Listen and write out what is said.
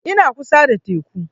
Ina kusa da teku